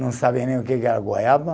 Não sabia nem o que que era goiaba.